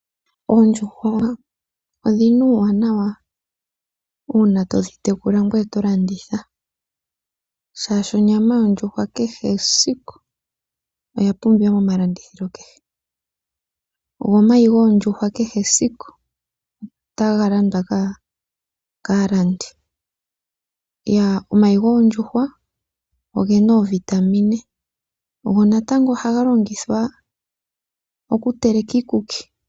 Oondjuhwa odhi na uuwanawa uuna to dhi tekula ngoye to landitha, shaashi onyama yondjuhwa kehesiku oya pumbiwa momalandithilo kehe. Go omayi goondjuhwa kehesiku otaga landwa kaalandi. Omayi goondjuhwa oge na oovitamine go natango ohaga longithwa okuteleka iikuki.